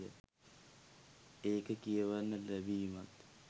ඒක කියවන්න ලැබීමත්